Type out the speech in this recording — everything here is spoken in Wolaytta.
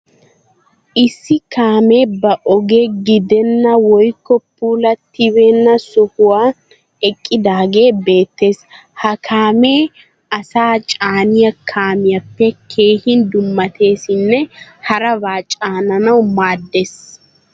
Issi kaamee ba oge gidenna woykko puulattibeenna sohuwan eqqidaagee beettees. Ha kaamee asaa chaaniya kaamiyappe keehin dummateesinne harabaa caananawu maaddees.